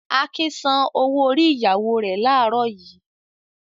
Akin san owó-orí ìyàwó rẹ̀ láàárọ̀ yìí.